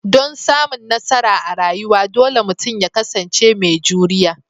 Dan samun nasara a rayuwa, dole mutum ya kasance mai juriya